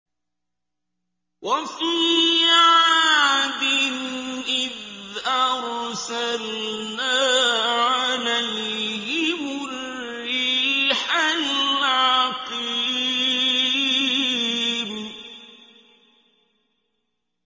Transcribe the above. وَفِي عَادٍ إِذْ أَرْسَلْنَا عَلَيْهِمُ الرِّيحَ الْعَقِيمَ